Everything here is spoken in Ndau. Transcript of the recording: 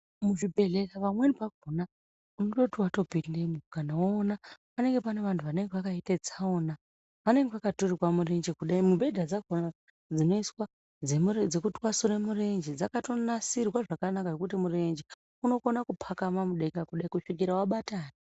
Muzvibhedhlera pamweni pakona unototi watopindemo kana ukanoona panenge pane vantu vakaite tsaona vanenge vakaturikwa murenje kudai mubhedha dzakona dzinoiswa dzekutwasure murenje dzakatonasirwa zvakanaka zvekuti murenje unokona kupakama mudenga kudai kuzvikora wabatana.